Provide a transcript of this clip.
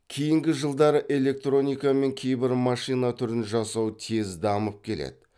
кейінгі жылдары электроника мен кейбір машина түрін жасау тез дамып келеді